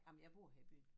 Ej men jeg bor her i byen